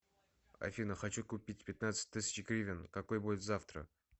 афина хочу купить пятнадцать тысяч гривен какой будет завтра